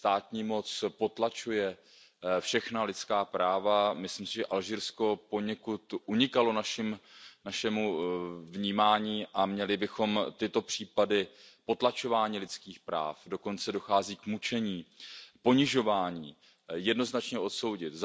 Státní moc potlačuje všechna lidská práva, myslím si, že Alžírsko poněkud unikalo našemu vnímání, a měli bychom tyto případy potlačování lidských práv dochází dokonce k mučení a ponižování jednoznačně odsoudit.